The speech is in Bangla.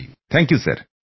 ধন্যবাদ স্যর